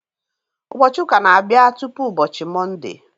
Ụbọọchi ụka n'abia tụpụ ụbọchị Mọnde